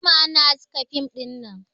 An jima ana haska fim dinnan